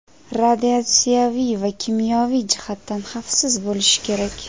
radiatsiyaviy va kimyoviy jihatdan xavfsiz bo‘lishi kerak.